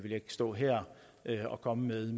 jeg ikke stå her og komme med